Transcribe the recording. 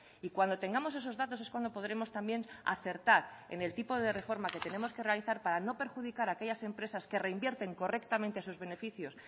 y cuando tengamos esos datos es cuando podremos también acertar en el tipo de reforma que tenemos que realizar para no perjudicar a aquellas empresas que reinvierten correctamente sus beneficios